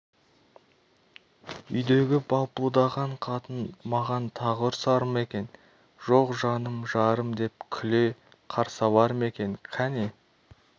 үйдегі балпылдаған қатын маған тағы ұрсар ма екен жоқ жаным жарым деп күле қарсы алар ма екен кәне